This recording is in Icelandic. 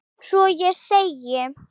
Svo ég segi